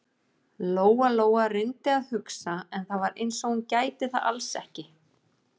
Lóa-Lóa reyndi að hugsa, en það var eins og hún gæti það alls ekki.